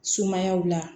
Sumaya la